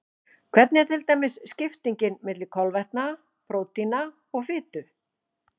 Hvernig er til dæmis skiptingin milli kolvetna, prótína og fitu?